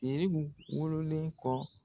TERIBU wololen kɔ.